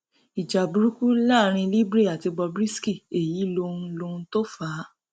ìjà burúkú láàrin libre àti bob risky èyí lohun lohun tó fà á